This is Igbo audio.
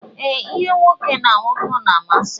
Ee, ihe nwoke na nwoke na amasi m.